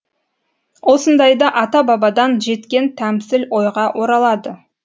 осындайда ата бабадан жеткен тәмсіл ойға оралады